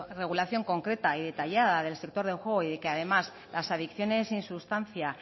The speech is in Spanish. regulación concreta y detallada del sector de juego y de que además las adicciones sin sustancia